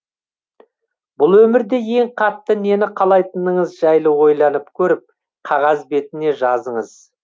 бұл өмірде ең қатты нені қалайтыныңыз жайлы ойланып көріп қағаз бетіне жазыңыз